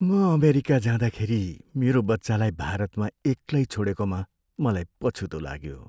म अमेरिका जाँदाखेरि मेरो बच्चालाई भारतमा एक्लै छोडेकोमा मलाई पछुतो लाग्यो।